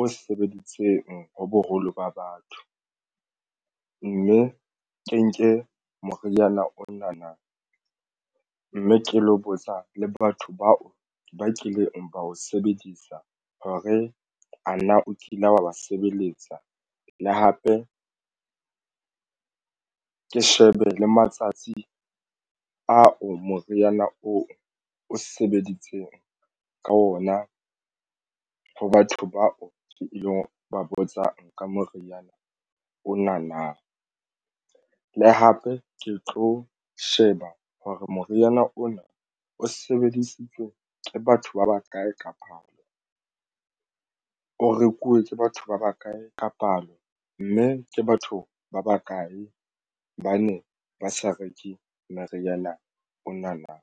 o sebeditseng ho boholo ba batho, mme ke nke moriana ona na, mme ke lo botsa le batho bao ba kileng ba o sebedisa hore ana o kile wa ba sebeletsa le hape ke shebe le matsatsi ao moriana oo o sebeditseng ka ona ho batho bao ke ilo ba botsang ka moriana o na nang le hape ke tlo sheba hore moriana ona o sebedisitswe ke batho ba bakae ka palo. O rekuwe tse batho ba bakae ka palo, mme ke batho ba bakae ba ne ba sa reke moriana ona na?